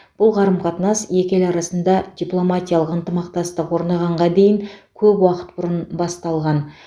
бұл қарым қатынас екі ел арасында дипломатиялық ынтымақтастық орнағанға дейін көп уақыт бұрын басталған